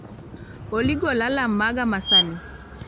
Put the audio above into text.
Olly gol alarm maga ma sani